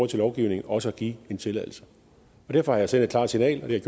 til lovgivningen også at give en tilladelse derfor har jeg sendt et klart signal og det